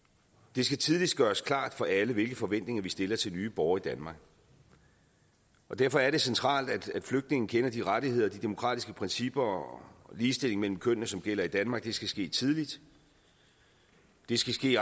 det skal tidligt gøres klart for alle hvilke forventninger vi stiller til nye borgere i danmark og derfor er det centralt at flygtninge kender de rettigheder de demokratiske principper og ligestilling mellem kønnene som gælder i danmark det skal ske tidligt det skal ske